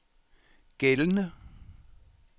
gældende